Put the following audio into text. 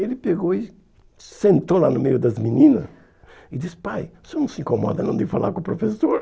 Ele pegou e sentou lá no meio das menina e disse, pai, o senhor não se incomoda não de falar com o professor?